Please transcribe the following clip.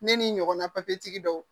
Ne ni ɲɔgɔnna dɔw